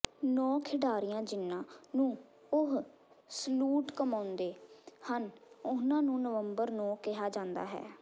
ਨੌਂ ਖਿਡਾਰੀਆਂ ਜਿਨ੍ਹਾਂ ਨੂੰ ਉਹ ਸਲੂਟ ਕਮਾਉਂਦੇ ਹਨ ਉਨ੍ਹਾਂ ਨੂੰ ਨਵੰਬਰ ਨੌਂ ਕਿਹਾ ਜਾਂਦਾ ਹੈ